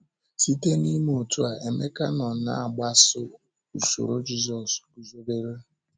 Site n’ime otú a, Emeka nọ na-agbaso usoro Jízọs guzobere.